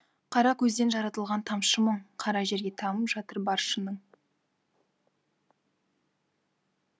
қара көзден жаратылған тамшы мұң қара жерге тамып жатыр бар шының